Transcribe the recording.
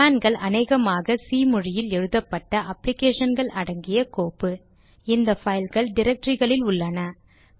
கமாண்ட்கள் அநேகமாக சி மொழியில் எழுதப்பட்ட அப்ளிகேஷன் கள் அடங்கிய கோப்பு இந்த பைல்கள் டிரக்டரிகளில் உள்ளன